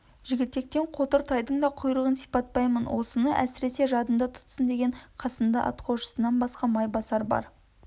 жігітектен қотыр тайдың да құйрығын сипатпаймын осыны әсіресе жадында тұтсын деген қасында атқосшысынан басқа майбасар бар